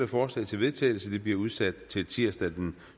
forslag til vedtagelse bliver udsat til tirsdag den